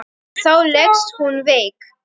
En þá leggst hún veik.